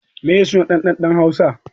Meye suna ɗan ɗan ɗa hausa